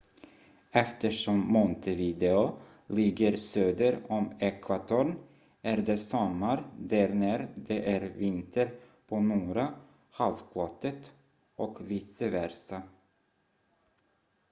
eftersom montevideo ligger söder om ekvatorn är det sommar där när det är vinter på norra halvklotet och vice versa